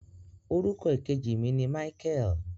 Orúkọ ìkejì mi ni Michael.